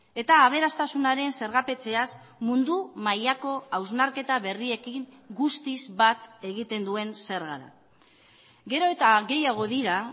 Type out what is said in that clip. eta aberastasunaren zergapetzeaz mundu mailako hausnarketa berriekin guztiz bat egiten duen zerga da gero eta gehiago dira